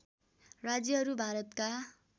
राज्यहरू भारतका